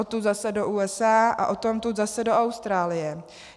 Odtud zase do USA a odtamtud zase do Austrálie.